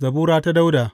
Zabura ta Dawuda.